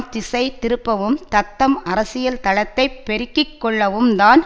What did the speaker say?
திசை திருப்பவும் தத்தம் அரசியல் தளத்தைப் பெருக்கி கொள்ளவும்தான்